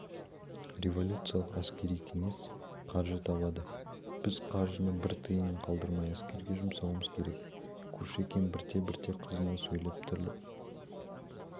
революциялық әскери кеңес қаржы табады біз қаржыны бір тиынын қалдырмай әскерге жұмсауымыз керек кушекин бірте-бірте қызына сөйлеп тіріліп